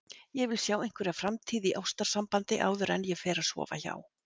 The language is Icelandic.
Ég vil sjá einhverja framtíð í ástarsambandi áður en ég fer að sofa hjá.